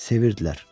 sevirdilər.